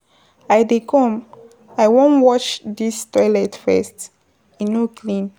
I dey come, I wan wash this toilet first, e no clean.